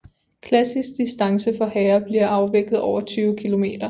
Klassisk distance for herrer bliver afviklet over 20 km